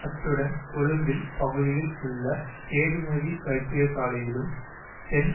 அத்துடன் கொழும்பில் பகுதியில் உள்ள கேதுமதி வைத்தியசாலையிலும் தென்